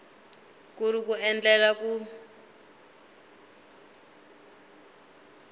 ku ri ku endlela ku